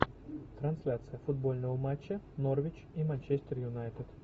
трансляция футбольного матча норвич и манчестер юнайтед